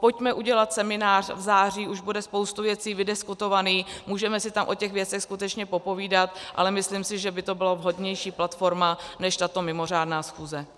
Pojďme udělat seminář v září, už bude spousta věcí vydiskutovaných, můžeme si tam o těch věcech skutečně popovídat, ale myslím si, že by to byla vhodnější platforma než tato mimořádná schůze.